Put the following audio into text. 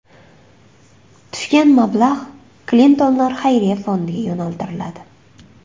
Tushgan mablag‘ Klintonlar Xayriya fondiga yo‘naltiriladi.